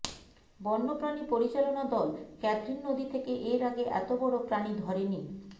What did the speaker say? বন্য প্রাণী পরিচালনা দল ক্যাথরিন নদী থেকে এর আগে এত বড় প্রাণী ধরেনি